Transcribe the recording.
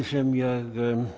sem ég